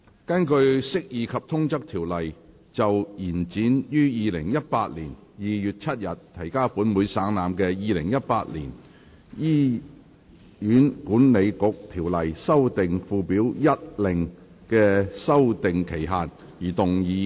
根據《釋義及通則條例》就延展於2018年2月7日提交本會省覽的《2018年醫院管理局條例令》的修訂期限而動議的擬議決議案。